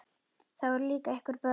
Það voru líka einhver börn.